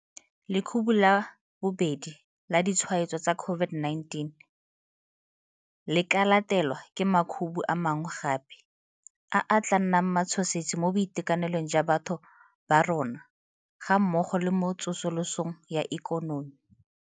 Lekhubu la bobedi la ditshwaetso tsa COVID-19 le ka latelwa ke makhubu a mangwe gape, a a tla nnang matshosetsi mo boitekanelong jwa batho ba rona gammogo le mo tsosolosong ya ikonomi.